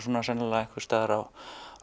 sennilega á